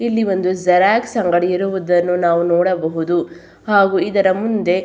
ಇಲ್ಲಿ ಒಂದು ಜೆರೊಕ್ಸ್ ಅಂಗಡಿ ಇರುವುದನ್ನು ನಾವು ನೋಡಬಹುದು ಹಾಗು ಇದರ ಮುಂದೆ --